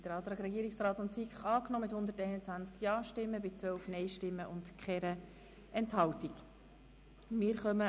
Sie haben den Antrag Regierungsrat/SiK angenommen mit 121 Ja- zu 12 Nein-Stimmen ohne Enthaltungen.